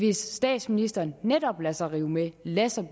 hvis statsministeren netop lader sig rive med og lader sig